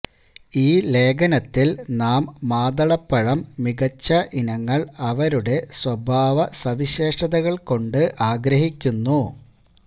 ഈ ലേഖനത്തിൽ നാം മാതളപ്പഴം മികച്ച ഇനങ്ങൾ അവരുടെ സ്വഭാവസവിശേഷതകൾ കൊണ്ട് ആഗ്രഹിക്കുന്നു